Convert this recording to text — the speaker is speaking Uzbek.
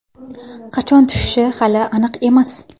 Qachon tushishi hali aniq emas.